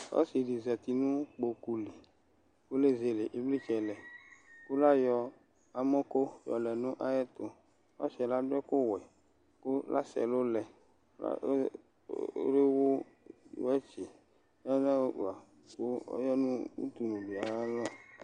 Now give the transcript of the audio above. Ɔsɩ ɖɩ zati nʋ ƙpoƙʋ li ƙʋ lezele ɩvlɩtsɛ lɛƘʋ l' aƴɔ amɔko lɛ nʋ aƴʋ ɛtʋƆsɩ ƴɛ l' aɖʋ ɛƙʋ wɛ,l' asɛ ɛlʋ lɛ,l' ewu wɛtsɩ, l'aɖʋ afʋƙpa ƙʋ ɔya nʋ udunulɔli aƴʋ alɔ